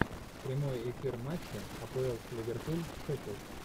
прямой эфир матча апл ливерпуль шефилд